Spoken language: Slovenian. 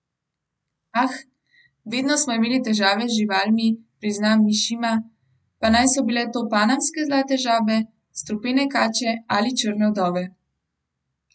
Ah, vedno smo imeli težave z živalmi, prizna Mišima, pa naj so bile to panamske zlate žabe, strupene kače ali črne vdove ...